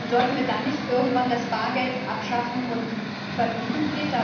Und sollten wir dann nicht irgendwann das Bargeld abschaffen und verbieten?